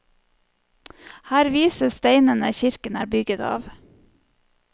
Her vises steinene kirken er bygget av.